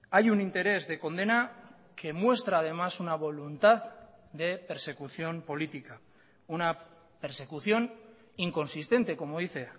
hay un interés de condena que muestra además una voluntad de persecución política una persecución inconsistente como dice